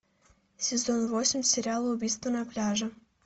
сезон восемь сериал убийство на пляже